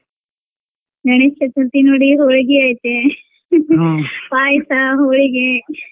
ಗಣೇಶ ಚತುರ್ಥಿ ನೋಡಿ ಹೋಳ್ಗಿ ಐತೆ ಪಾಯ್ಸ, ಹೋಳಿಗೆ.